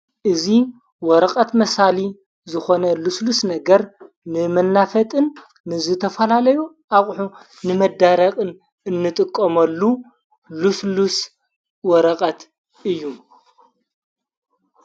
እዚ ወረቐት መሣሊ ዝኾነ ሉስሉስ ነገር ንመናፈጥን ንዝ ተፈላለዩ ኣቝሑ ንመዳረቕን እንጥቆመሉ ሉስሉስ ወረቐት እዩ::